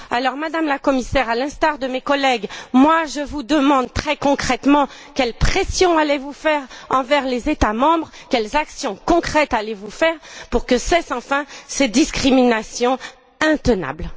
Alors, Madame la Commissaire, à l'instar de mes collègues, je vous demande très concrètement quelles pressions allez vous exercer auprès des États membres, quelles actions concrètes allez vous mener pour que cessent enfin ces discriminations intenables?